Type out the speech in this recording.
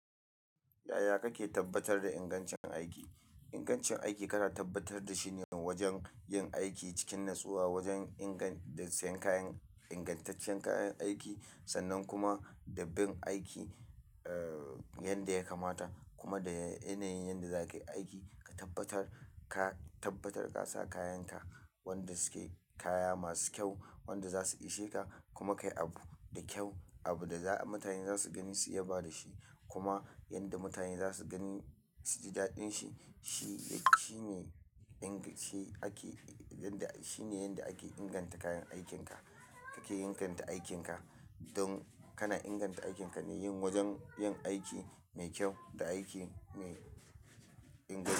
Yaya kake tabbatar da ingancin aiki? Ingancin aiki kana tabbatar da shi ne wajen yin aiki cikin natsuwa wajen ingan-- da sayan kayan ingantaccen kayan aiki sannan kuma da bin aiki, eh, yadda ya kamata kuma da yanayin yadda za ka yi aiki ka tabbatar-- ka tabbatar ka sa kayanka wanda suke kaya masu kyau wanda za su isheka kuma kai abu da kyau, abu da za mutane za su gani su yaba da shi kuma yadda mutane za su gani su ji daɗin shi. Shi, shine inga-- shi ake, yanda, shine yanda ake inganta kayan aikinka. Kake inganta aikinka don kana inganta aikinka ne yin wajen yin aiki mai kyau da aiki mai inganci.